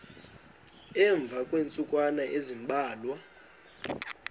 emva kweentsukwana ezimbalwa